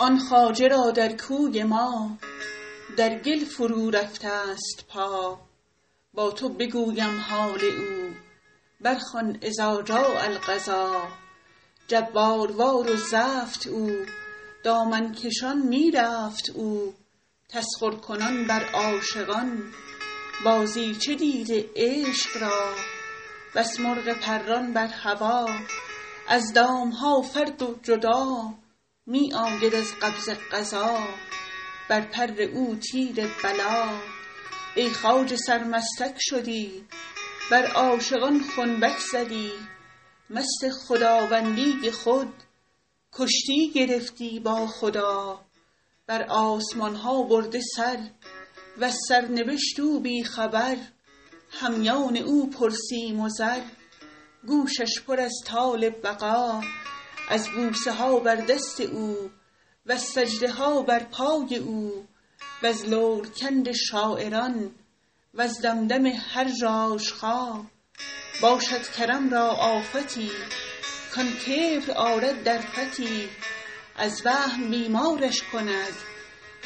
آن خواجه را در کوی ما در گل فرورفته ست پا با تو بگویم حال او برخوان اذا جاء القضا جباروار و زفت او دامن کشان می رفت او تسخرکنان بر عاشقان بازیچه دیده عشق را بس مرغ پران بر هوا از دام ها فرد و جدا می آید از قبضه قضا بر پر او تیر بلا ای خواجه سرمستک شدی بر عاشقان خنبک زدی مست خداوندی خود کشتی گرفتی با خدا بر آسمان ها برده سر وز سرنبشت او بی خبر همیان او پرسیم و زر گوشش پر از طال بقا از بوسه ها بر دست او وز سجده ها بر پای او وز لورکند شاعران وز دمدمه هر ژاژخا باشد کرم را آفتی کان کبر آرد در فتی از وهم بیمارش کند